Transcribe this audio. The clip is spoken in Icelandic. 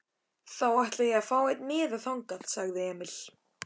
Þá ætla ég að fá einn miða þangað, sagði Emil.